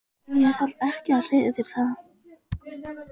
Ég þarf ekki að segja þér það.